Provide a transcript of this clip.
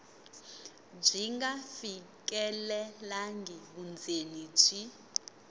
byi nga fikelelangi vundzeni byi